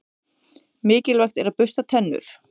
Mikilvægt er að bursta tennur.